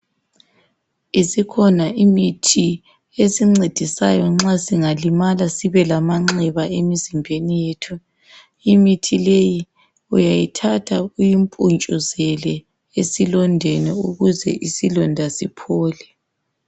Isikhona imithi esincedisayo nxa singalimala sibelamanxeba emizimbeni yethu. Imithi leyi uyayithatha uyimpuntshuzele esilondeni ukuze isilonda siphole.